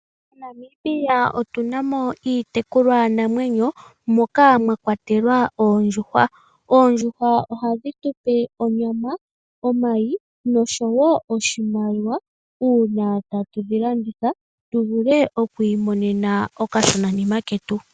MoNamibia otuna mo iitekulwa namwenyo moka mwakwatelwa oondjuhwa. Oondjuhwa ohadhi tupe onyama, omayi nosho wo oshimaliwa uuna tatudhi landitha tuvule okwiimonena okashonanima ketu.